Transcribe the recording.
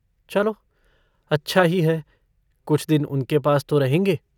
चलो अच्छा ही है कुछ दिन उनके पास तो रहेंगे।